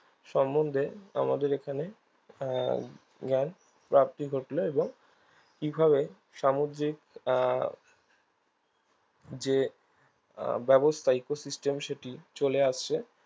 সম্মন্ধে আমাদের এখানে আহ জ্ঞানপ্রাপ্তি ঘটলো এবং কিভাবে সামুদ্রিক আহ যে আহ ব্যবস্থা ecosystem যেটি চলে আসছে